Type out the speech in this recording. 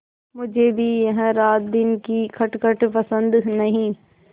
मुझे भी यह रातदिन की खटखट पसंद नहीं